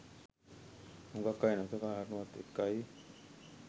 හුගක් අය නොසලකා හරිනවත් එක්කයි.